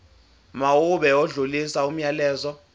mawube odlulisa umyalezo